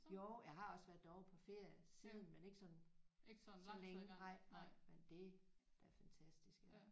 Jo jeg har også været derovre på ferie siden men ikke sådan så længe nej nej men det der er fantastisk ja